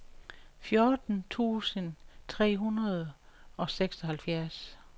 fjorten tusind tre hundrede og seksoghalvfjerds